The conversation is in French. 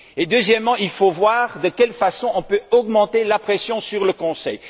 Deuxièmement, il faut voir de quelle façon on peut accentuer la pression sur le Conseil.